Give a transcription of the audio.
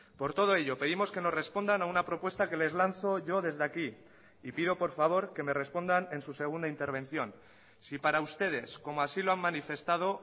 por todo ello pedimos que nos respondan a una propuesta que les lanzo yo desde aquí y pido por favor que me respondan en su segunda intervención si para ustedes como así lo han manifestado